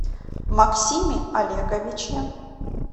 максиме олеговиче